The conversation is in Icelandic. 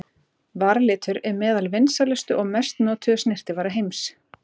Varalitur er meðal vinsælustu og mest notuðu snyrtivara heims.